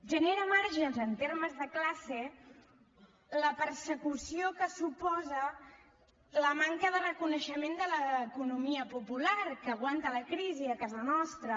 genera marges en termes de classe la persecució que suposa la manca de reconeixement de l’economia popular que aguanta la crisi a casa nostra